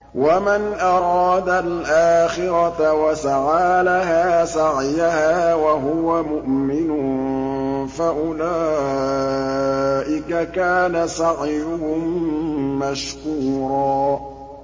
وَمَنْ أَرَادَ الْآخِرَةَ وَسَعَىٰ لَهَا سَعْيَهَا وَهُوَ مُؤْمِنٌ فَأُولَٰئِكَ كَانَ سَعْيُهُم مَّشْكُورًا